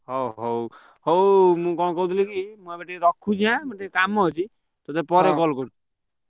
ହଉ ହଉ ହଉ ମୁଁ କଣ କହୁଥିଲି କି ମୁଁ ଏବେ ରଖୁଛି ଆଁ ମୋର ଏବେ ଟିକେ କାମ ଅଛି ତତେ ପରେ call କରୁଛି।